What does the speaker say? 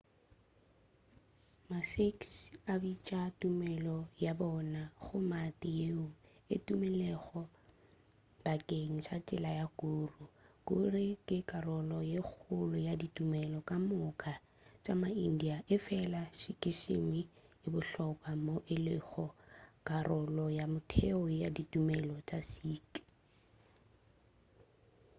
ma-sikhs a bitša tumelo ya bona gurmat yeo e tumilego bakeng sa tsela ya guru guru ke karolo ye kgolo ya ditumelo ka moka tša ma-india efela sikhism e bohlokwa moo e lego karolo ya motheo ya ditumelo tša sikh